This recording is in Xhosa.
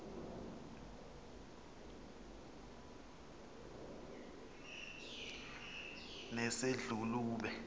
nesedlulube